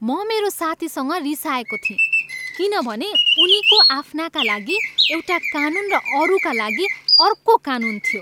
म मेरो साथीसँग रिसाएको थिएँ किनभने उनीको आफ्नाका लागि एउटा कानून र अरूका लागि अर्को कानून थियो।